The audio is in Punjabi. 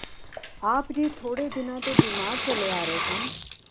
ਆਪ ਜੀ ਥੋੜ੍ਹੇ ਦਿਨਾਂ ਤੋਂ ਬੀਮਾਰ ਚੱਲੇ ਆ ਰਹੇ ਸਨ